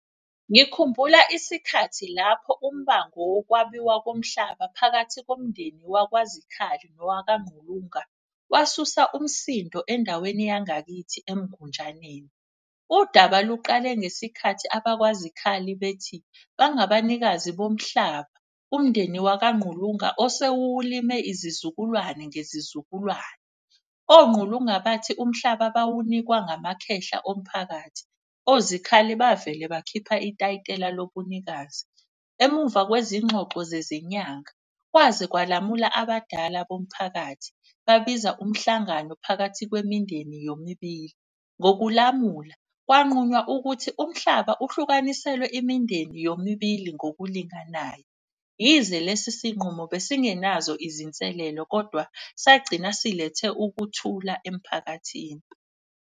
Ngikhumbula isikhathi lapho umbango wokwabiwa komhlaba phakathi komndeni wakwaZikhali nowakaNgqulunga, wasusa umsindo endaweni yangakithi eMgunjaneni. Udaba luqale ngesikhathi abakwaZikhali bethi bangabanikazi bomhlaba, umndeni wakaNgqulunga osewulime izizukulwane ngezizukulwane. ONgqulunga bathi umhlaba bawunikwa ngamakhehla omphakathi, oZikhali bavele bakhipha itayitela lobunikazi. Emuva kwezingxoxo zezinyanga kwaze kwalamula abadala bomphakathi babiza umhlangano phakathi kwemindeni yomibili. Ngokulamula kwanqunywa ukuthi umhlaba uhlukaniselwe imindeni yomibili ngokulinganayo. Yize lesi sinqumo besingenazo izinselelo kodwa sagcina silethe ukuthula emphakathini.